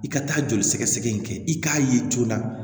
I ka taa joli sɛgɛsɛgɛ in kɛ i k'a ye joona